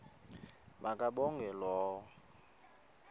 ma kabongwe low